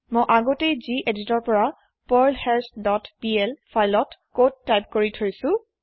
মই আগতেই geditৰ পাৰ্লহাছ ডট plফাইলত কদ টাইপ কৰি থৈছো